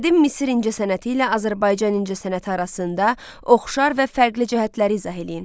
Qədim Misir incəsənəti ilə Azərbaycan incəsənəti arasında oxşar və fərqli cəhətləri izah eləyin.